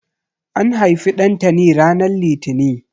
An haifi Ɗantani ranar Litini.